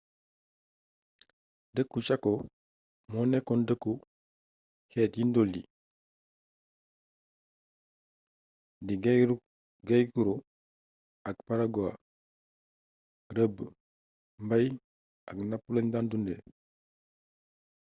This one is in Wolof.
dëkku chaco mo nekoon dëkku xéét yi ndool yi di guaycurú ak payaguá rëbb mbaay ak napp lañu dan dundé